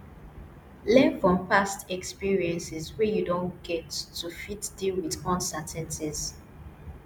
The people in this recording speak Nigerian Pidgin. learn from past experiences wey you don get to fit deal with uncertainties